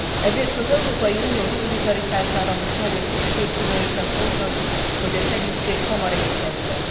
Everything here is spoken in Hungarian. Ezért az Európai Unió szolidaritására most nagy a szükség Különösen fontos, hogy a segítség hamar érkezzen.